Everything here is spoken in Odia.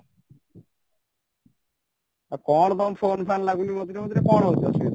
ଆଉ କ'ଣ ତମ phone ଲାଗୁନି ମଝିରେ ମଝିରେ କ'ଣ ହଉଚି ଅସୁବିଧା?